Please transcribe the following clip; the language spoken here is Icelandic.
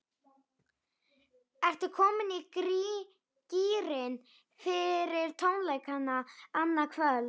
Ertu komin í gírinn fyrir tónleikana annað kvöld?